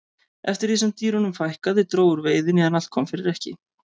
eftir því sem dýrunum fækkaði dró úr veiðinni en allt kom fyrir ekki